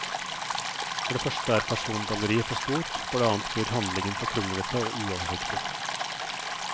For det første er persongalleriet for stort, for det annet blir handlingen for kronglete og uoversiktlig.